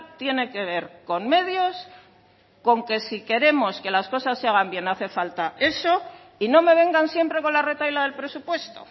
tiene que ver con medios con que si queremos que las cosas se hagan bien hace falta eso y no me vengan siempre con la retahíla del presupuesto